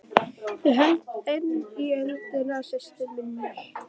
Ég held enn í höndina á systur minni.